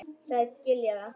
Sagðist skilja það.